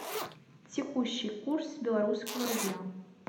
текущий курс белорусского рубля